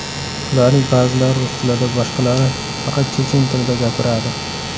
Ularning ba’zilari rus tilida, boshqalari faqat chechen tilida gapiradi.